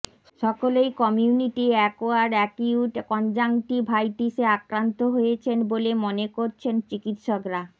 সকলেই community acquired acute কনজাংটিভাইটিসে আক্রান্ত হয়েছেন বলে মনে করছেন চিকিৎসকরা